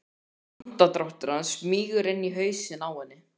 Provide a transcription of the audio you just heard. Andardráttur hans smýgur inn í hausinn á henni.